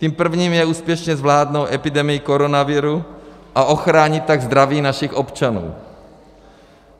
Tím prvním je úspěšně zvládnout epidemii koronaviru, a ochránit tak zdraví našich občanů.